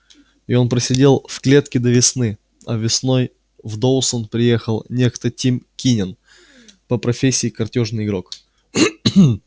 и он просидел в клетке до весны а весной в доусон приехал некто тим кинен по профессии картёжный игрок